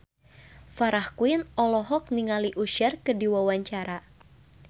Farah Quinn olohok ningali Usher keur diwawancara